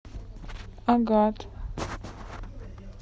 агат